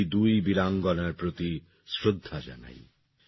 আমি এই দুই বীরাঙ্গনার প্রতি শ্রদ্ধা জানাই